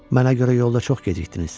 Mənə görə yolda çox gecikdiniz.